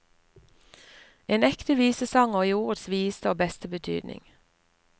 En ekte visesanger i ordets videste og beste betydning.